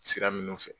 Sira minnu fɛ